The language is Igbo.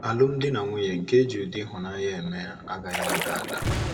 Alụmdi na nwunye nke e ji ụdị ịhụnanya eme, agaghị ada ada.